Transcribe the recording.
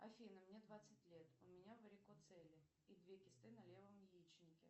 афина мне двадцать лет у меня варикоцеле и две кисты на левом яичнике